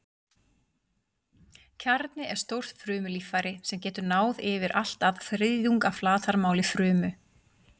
Kjarni er stórt frumulíffæri sem getur náð yfir allt að þriðjung af flatarmáli frumu.